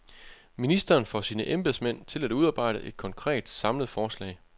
Ministeren får sine embedsmænd at udarbejde et konkret, samlet forslag.